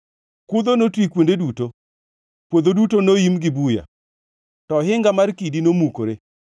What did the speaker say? kudho notwi kuonde duto, puodho duto noim gi buya, to ohinga mar kidi nomukore.